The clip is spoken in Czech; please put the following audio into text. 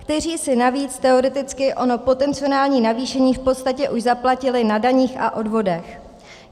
- kteří si navíc teoreticky ono potenciální navýšení v podstatě už zaplatili na daních a odvodech.